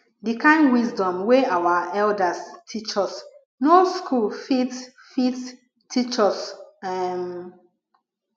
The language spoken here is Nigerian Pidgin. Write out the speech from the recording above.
the kind wisdom wey our elders teach us no school fit fit teach us um